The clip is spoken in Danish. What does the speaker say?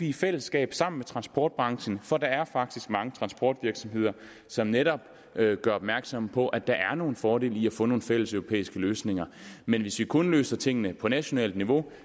i fællesskab sammen med transportbranchen for der er faktisk mange transportvirksomheder som netop gør opmærksom på at der er nogle fordele i at få nogle fælles europæiske løsninger men hvis vi kun løser tingene på nationalt niveau